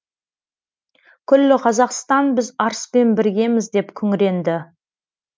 күллі қазақстан біз арыспен біргеміз деп күңіренді